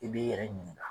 I b'i yɛrɛ ɲininka